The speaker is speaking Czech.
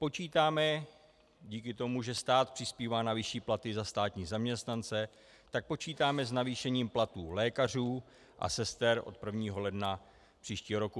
Počítáme díky tomu, že stát přispívá na vyšší platy za státní zaměstnance, tak počítáme s navýšením platů lékařů a sester od 1. ledna příštího roku.